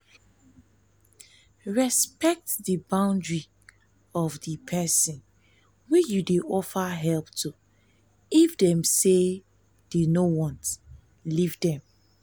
respect di boundry of di perosn wey you dey offer help to if dem say dem no want leave them